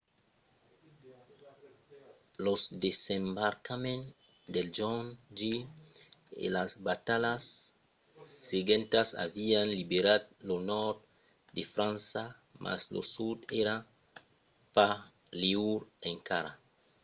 los desembarcaments del jorn j e las batalhas seguentas avián liberat lo nòrd de frança mas lo sud èra pas liure encara